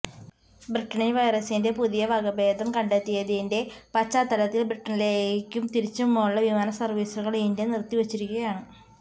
ബ്രിട്ടണിൽ വൈറസിന്റെ പുതിയ വകഭേതം കണ്ടെത്തിയതിന്റെ പശ്ചാത്തലത്തിൽ ബ്രിട്ടണീലേയ്ക്കും തിരിച്ചുമുള്ള വിമാന സർവീസുകൾ ഇന്ത്യ നിർത്തിവച്ചിരിയ്ക്കുകയാണ്